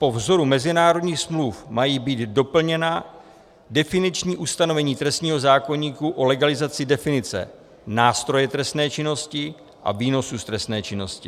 Po vzoru mezinárodních smluv mají být doplněna definiční ustanovení trestního zákoníku o legalizaci definice nástroje trestné činnosti a výnosu z trestné činnosti.